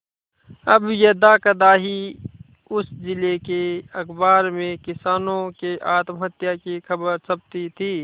अब यदाकदा ही उस जिले के अखबार में किसानों के आत्महत्या की खबरें छपती थी